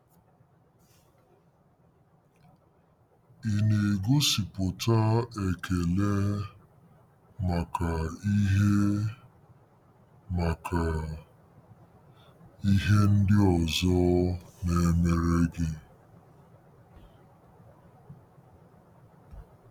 Ị na-egosipụta ekele maka ihe maka ihe ndị ọzọ na-emere gị?